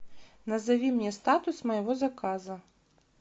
назови мне статус моего заказа